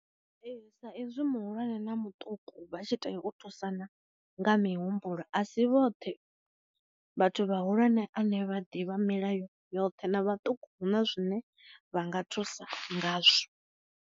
Ee sa ezwi muhulwane na muṱuku vha tshi tea u thusana nga mi humbulo asi vhoṱhe vhathu vha hulwane ane vha ḓivha milayo yoṱhe, na vhaṱuku na zwine vha nga thusa ngazwo.